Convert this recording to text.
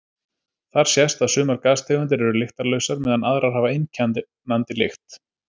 Þar sést að sumar gastegundir eru lyktarlausar meðan aðrar hafa einkennandi lykt.